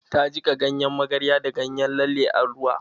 Ta jiƙa ganyen magarya da ganyen lalle cikin ruwa